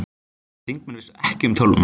Þingmenn vissu ekki um tölvuna